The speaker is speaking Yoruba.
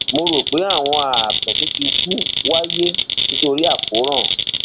mo rò pé àwọn ààtọ tó ti kú wáyé nítorí akóràn